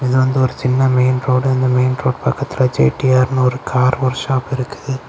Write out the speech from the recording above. இது வந்து ஒரு சின்ன மெயின் ரோடு இந்த மெயின் ரோடு பக்கத்துல ஜெ_டி_ஆர் னு ஒரு கார் ஒர்க் ஷாப் இருக்குது.